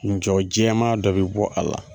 Jɔ jɛman dɔ bi bɔ a la,